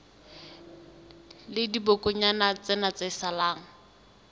la dibokonyana tsena tse salang